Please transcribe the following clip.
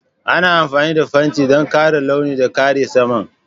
Ana amfani da fenti don ƙara launi da kare saman.